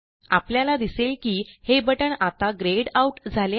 आपल्याला दिसेल की हे बटण आता ग्रेय्ड आउट झाले आहे